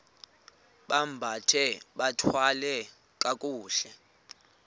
bambathe bathwale kakuhle